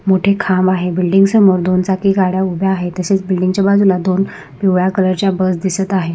मोठे खांब आहे बिल्डिंग समोर दोन चाकी गाड्या उभ्या आहेत तसेच बिल्डिंग च्या बाजूला दोन पिवळ्या कलर च्या बस दिसत आहे.